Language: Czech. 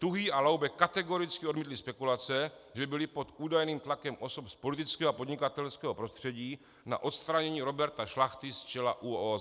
Tuhý a Laube kategoricky odmítli spekulace, že byli pod údajným tlakem osob z politického a podnikatelského prostředí na odstranění Roberta Šlachy z čela ÚOOZ.